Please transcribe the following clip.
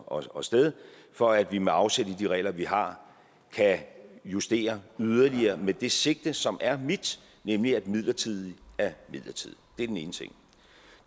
og sted for at vi med afsæt i de regler vi har kan justere yderligere med det sigte som er mit nemlig at midlertidigt er midlertidigt det er den ene ting